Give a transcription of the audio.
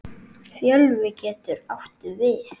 Fjölvi getur átt við